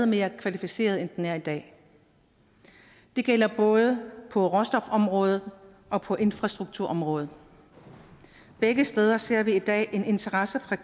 mere kvalificeret end den er i dag det gælder både på råstofområdet og på infrastrukturområdet begge steder ser vi i dag en interesse fra